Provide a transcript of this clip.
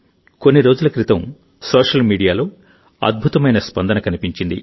కొన్ని రోజుల క్రితం సోషల్ మీడియాలో అద్భుతమైన క్రేజ్ కనిపించింది